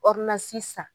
san